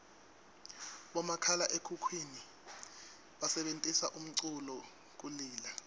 bomakhalaekhukhwini basebentisa umculu kulila